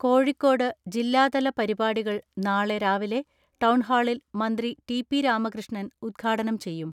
കോഴിക്കോട് ജില്ലാതല പരിപാടികൾ നാളെ രാവിലെ ടൗൺഹാളിൽ മന്ത്രി ടി.പി രാമകൃഷ്ണൻ ഉദ്ഘാടനം ചെയ്യും.